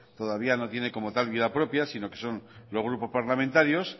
todavía no tiene como tal vida propia sino que son los grupos parlamentarios